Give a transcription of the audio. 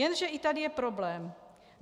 Jenže i tady je problém.